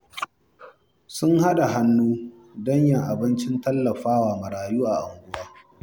Sun haɗa hannu don yin abincin tallafa wa marayu a unguwar